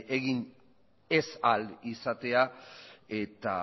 egin ez ahal izatea eta